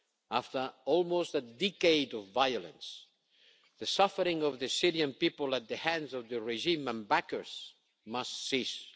After almost a decade of violence, the suffering of the Syrian people at the hands of the regime and its backers must cease.